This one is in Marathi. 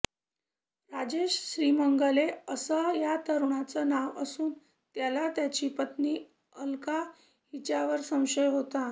राजेश श्रीमंगले असं या तरुणाचं नाव असून त्याला त्याची पत्नी अलका हिच्यावर संशय होता